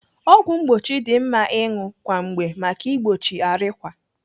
Ọgwụ mgbochi dị mma ịṅụ kwa mgbe maka igbochi arịkwa.